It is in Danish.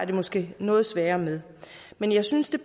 det måske noget sværere med men jeg synes der